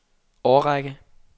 årrække